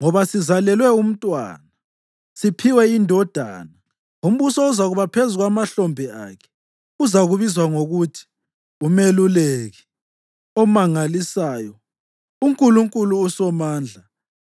Ngoba sizalelwe umntwana, siphiwe indodana, umbuso uzakuba phezu kwamahlombe akhe. Uzabizwa ngokuthi uMeluleki Omangalisayo, uNkulunkulu uSomandla,